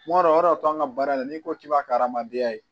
Kuma dɔ o de to an ka baara in na n'i ko k'i b'a ka hadamadenya ye